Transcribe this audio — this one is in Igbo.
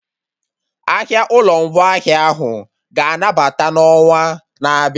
Ahịa ụlọ ngwaahịa ahụ ga-anabata n'onwa na-abịa